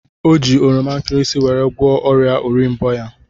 O ji oroma nkịrịsịmee weri gwoọ oria orimbo ya.